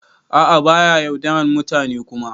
A'a ba ya yaudaran mutane Kuma.